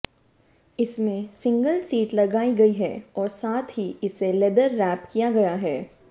इसमें single seat लगाई गई है और साथ ही इसे लेदर रैप किया गया है